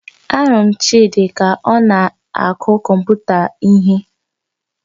Ahụrụ m Chidi ka ọ na-akụ kọmputa ihe